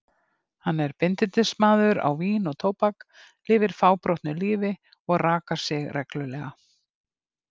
Hann er bindindismaður á vín og tóbak, lifir fábrotnu lífi og rakar sig reglulega.